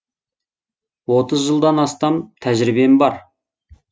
отыз жылдан астам тәжірибем бар